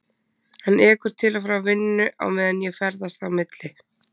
Hann ekur til og frá vinnu á meðan ég ferðast á milli